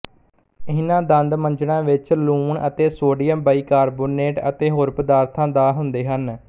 ਇਹਨਾਂ ਦੰਦ ਮੰਜਣਾਂ ਵਿੱਚ ਲੂਣ ਅਤੇ ਸੋਡੀਅਮ ਬਾਈਕਾਰਬੋਨੇਟ ਅਤੇ ਹੋਰ ਪਦਾਰਥਾਂ ਦਾ ਹੁੰਦੇ ਹਨ